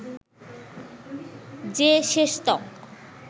যে শেষতক